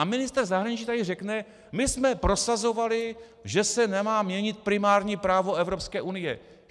A ministr zahraničí tady řekne: My jsme prosazovali, že se nemá měnit primární právo Evropské unie.